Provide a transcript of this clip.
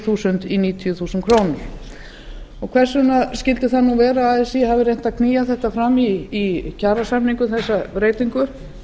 þúsund krónur í níutíu þúsund krónur hvers vegna skyldi það nú vera að así hafi reynt að knýja þetta fram í kjarasamningum þessa breytingu